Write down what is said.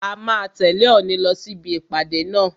A máa tẹ̀lẹ́ Òòni lọ sí ibi ìpàdé náà.